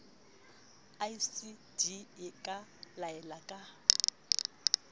icd e ka laela ka